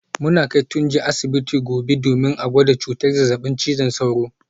Muna kai Tunji asibiti gobe domin a gwada cutar zazzabin cizon sauro